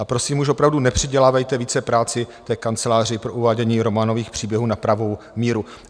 A prosím, už opravdu nepřidělávejte více práci té kanceláři pro uvádění románových příběhů na pravou míru.